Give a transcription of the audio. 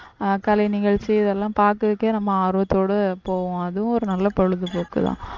அஹ் கலை நிகழ்ச்சி இதெல்லாம் பார்க்கிறதுக்கே நம்ம ஆர்வத்தோட போவோம் அதுவும் ஒரு நல்ல பொழுதுபோக்குதான்